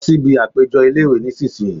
Lọ síbi àpéjọ ilé-ìwé nísìínyi